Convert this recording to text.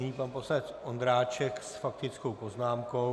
Nyní pan poslanec Ondráček s faktickou poznámkou.